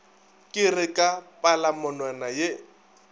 ke re ka palamonwana ye